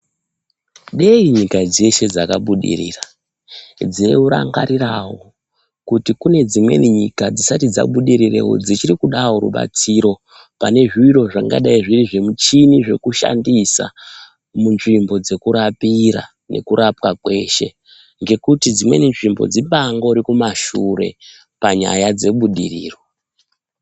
Dei nyika dzeshe dzakabudirira, dzeirangarirawo kuti kune dzimweni nyika dzisati dzabudirirewo dzichirikudawo rubatsiro pane zviro zvingadai zviri zvimuchini zvekushandisa munzvimbo dzekurapira nekurapwa kweshe ngekuti dzimweni nzvimbo dzibangori kumashure panyaya dzebudiriro.